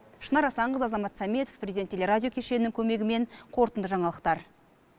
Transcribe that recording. шынар асанқызы азамат саметов президент телерадио кешенінің көмегімен қорытынды жаңалықтар